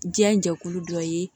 Diɲɛ jɛkulu dɔ ye